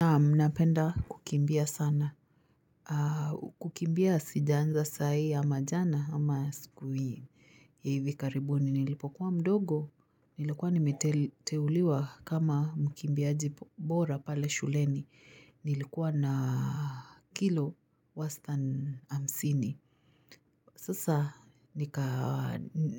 Naam ninapenda kukimbia sana. Kukimbia sijaanza saa hii amajana ama siku hii hivi karibuni. Nilipokuwa mdogo. Nilikuwa nimeteuliwa kama mkimbiaji bora pale shuleni. Nilikuwa na kilo wastani hamsini. Sasa